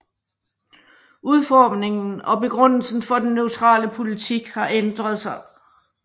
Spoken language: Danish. Udformningen og begrundelsen for den neutrale politik har ændret sig